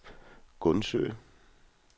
Gundsø